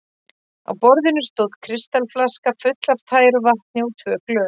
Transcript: Á borðinu stóð kristalsflaska full af tæru vatni og tvö glös.